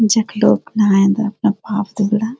जख लोग नाहेंदा अपना पाप धुल्दा।